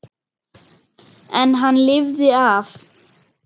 En hann lifði af.